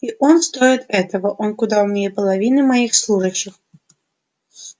и он стоит этого он куда умнее половины моих служащих